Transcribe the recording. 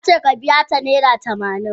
Na ce ka biya ta naira tamanin.